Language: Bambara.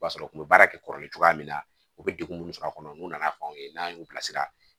O b'a sɔrɔ u bɛ baara kɛ kɔrɔlen cogoya min na u bɛ degun minnu sɔrɔ a kɔnɔ n'u nana fanw ye n'an y'u bilasira